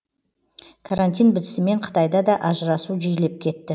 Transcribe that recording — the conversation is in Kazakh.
карантин бітісімен қытайда да ажырасу жиілеп кетті